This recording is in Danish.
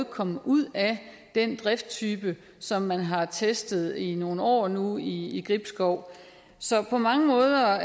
kommet ud af den drifttype som man har testet i nogle år nu i gribskov så på mange måder